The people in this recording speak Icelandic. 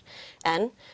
en